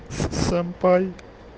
сэмпай